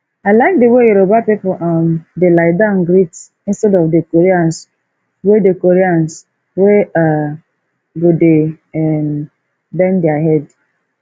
i like the way yoruba people um dey lie down greet instead of the koreans wey the koreans wey um go dey um bend their head